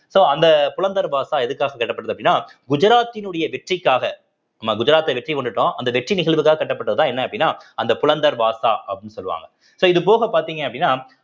so அந்த புலந்த் தர்வாசா எதுக்காக கட்டப்பட்டது அப்படின்னா குஜராத்த்தினுடைய வெற்றிக்காக நம்ம குஜராத்தை வெற்றி கொண்டுட்டோம் அந்த வெற்றி நிகழ்வுக்காக கட்டப்பட்டதுதான் என்ன அப்படின்னா அந்த புலந்த் தர்வாசா அப்படின்னு சொல்ல so இது போக பார்த்தீங்க அப்படின்னா